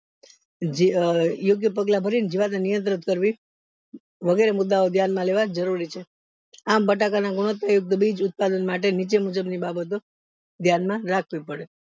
જે યોગ્ય પગલા ભરીને જીવાતને કરવી વગેરે મુદ્દાઓ ધ્યાન માં લેવા જરૂરી છે અમ બટાકા ના ગુણવત્તા યુક્ત બીજ ઉત્પાદન માટે ni